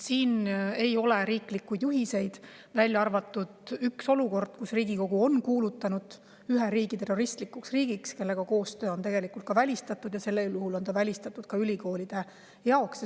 Riiklikke juhiseid neile ei ole, välja arvatud see, et Riigikogu on kuulutanud ühe riigi terroristlikuks riigiks, kellega koostöö on välistatud, ja sel juhul on see välistatud ka ülikoolide jaoks.